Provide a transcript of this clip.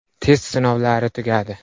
Test sinovlari tugadi.